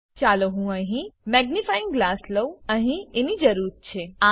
ચાલો હું અહી મેગ્નિફાઇંગ ગ્લાસ લઉં અહી એની જરૂરત છે